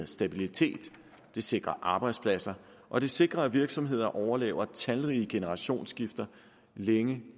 stabilitet det sikrer arbejdspladser og det sikrer at virksomheder overlever talrige generationsskifter længe